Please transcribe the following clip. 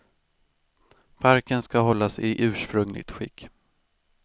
Parken ska hållas i ursprungligt skick.